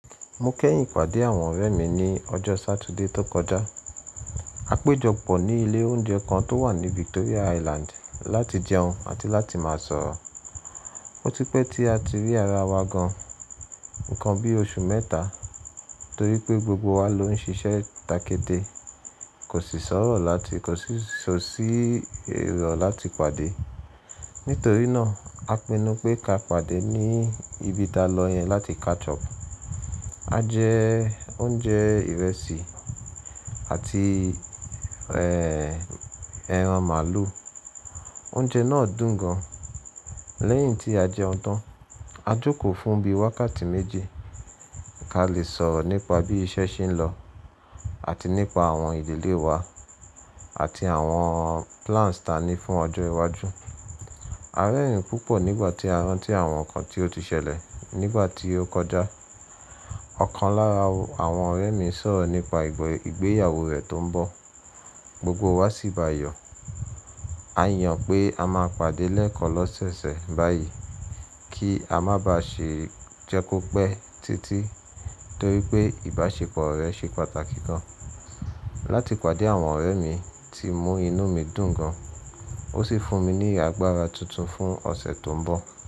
Mo kẹ́yìn ìpàdé àwọn ọ̀rẹ́ mi ní ọjọ́ Saturday tó kọjá. A péjọ pọ̀ ní ilé oúnjẹ kan tó wà ní Victoria Island láti jẹun àti láti máa sọ̀rọ̀. Ó ti pẹ́ tí a ti rí ara wa gan, ǹkan bí oṣù mẹ́ta, torí pé gbogbo wa ló ń ṣiṣẹ́ takede, kò sì sọ̀rọ̀ láti kọ̀ sí ṣọ sí irọ̀ láti pàdé. Nítorí náà, a pinnu pé ká pàdé ní ibi talo yẹn láti catch up. A jẹ oúnjẹ ìrẹsì àti ẹran màlúù. Oúnjẹ náà dùn gan. Lẹ́yìn tí a jẹun tán, a jókòó fún bí wákàtí méje ká lè sọ̀rọ̀ nípa bí iṣẹ́ ṣe ń lọ àti nípa àwọn ìdílé wa àti àwọn plans tá ní fún ọjọ́ iwájú. A A rẹ́rìn-ín púpọ̀ nígbà tí a rántí àwọn nǹkan tí ó ti ṣẹlẹ̀ nígbà tí ó kọjá. Ọ̀kan lára àwọn ọ̀rẹ́ mi sọ̀rọ̀ nípa ìgbéyàwó rẹ̀ tó ń bọ̀. Gbogbo wa sì bayọ̀. A A yàn pé a máa pàdé lẹ́ẹ̀kan lọ́sẹ̀sẹ̀ báyìí kí a má ba ṣe jẹ́ kó pẹ́ títí torí pé ìbáṣepọ̀ rẹ̀ ṣe pàtàkì gan. Láti pàdé àwọn ọ̀rẹ́ mi tí mú inú mi dùn gan, ó sì fún mi ní agbára tuntun fún ọ̀sẹ̀ tó ń bọ̀.